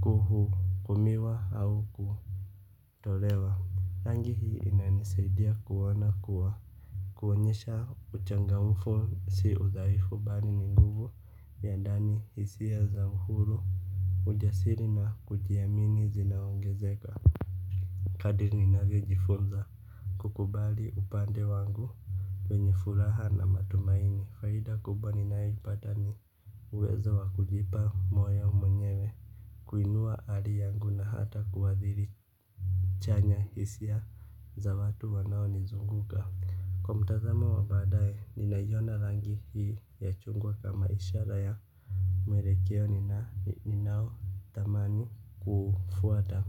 kuhukumiwa au kutolewa, rangi hii inanisaidia kuona kuwa kuonyesha uchangamfu si udhaifu bali ni nguvu ya ndani hisiya za uhuru. Ujasiri na kujiamini zinaongezeka. Kadri ninavyojifunza kukubali upande wangu wenye furaha na matumaini, faida kubwa ninayoipata ni uwezo wa kujipa moyo mwenyewe, kuinuwa hali yangu na hata kuwadhiri chanya hisia za watu wanao nizunguka. Kwa mtazamo wabadae ninaiyona rangi hii ya chungwa kama ishara ya mwelekeo ninao tamani kuufwata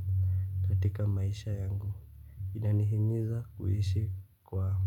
katika maisha yangu. Inanihimiza kuishi kwa ma.